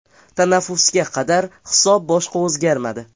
Tanaffusga qadar hisob boshqa o‘zgarmadi.